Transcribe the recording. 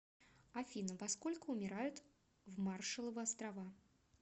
афина во сколько умирают в маршалловы острова